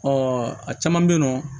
a caman bɛ yen nɔ